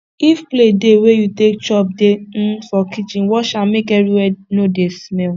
if plate dey wey you take chop dey um for kitchen wash am make everywhere no dey smell